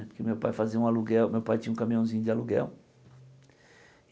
Porque meu pai fazia um aluguel, meu pai tinha um caminhãozinho de aluguel.